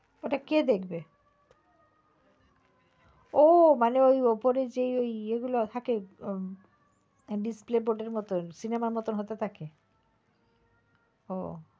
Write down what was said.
ওটা কে দেখবে ও মানে ওপরে যেই গুলো থাকে display board এর মতন cinema র মতন হতে থাকে ও।